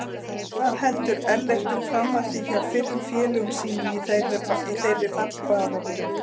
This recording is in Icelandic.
Hvað heldur Ellert um framhaldið hjá fyrrum félögum sínum í þeirra fallbaráttu?